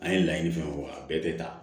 An ye laɲini fɛn fɛn fɔ a bɛɛ tɛ ta